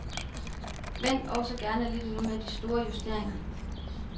Vent også gerne lidt endnu med de store justeringer.